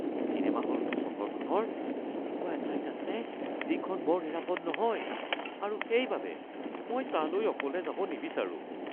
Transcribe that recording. cinema হলটো চহৰখনৰ এনেকুৱা এঠাইত আছে যিখন বৰ নিৰাপদ নহয় আৰু সেইবাবে মই তালৈ অকলে যাব নিবিচাৰোঁ